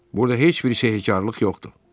Burda heç bir şeyi hekarlıq yoxdur.